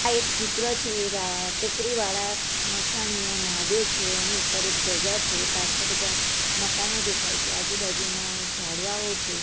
આ એક ચિત્ર છે રા ટેકરી વાળા સ્મશાનયા મહાદેવ છે એની ઉપર એક ધજા છે પાછળ બધા મકાનો દેખાય છે આજુબાજુમાં ઝાડવાઓ છે.